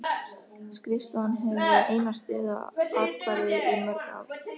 Skrifstofan hefur verið eina stöðuga athvarfið í mörg ár.